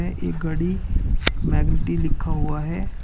एक गाड़ी मैग्निटी लिखा हुआ है।